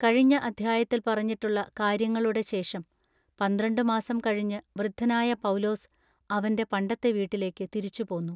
കഴിഞ്ഞ അദ്ധ്യായത്തിൽ പറഞ്ഞിട്ടുള്ള കാര്യങ്ങളുടെ ശേഷം പന്ത്രണ്ട് മാസം കഴിഞ്ഞ് വൃദ്ധനായ പൗലോസ് അവന്റെ പണ്ടത്തെ വീട്ടിലേക്കു തിരിച്ചുപോന്നു.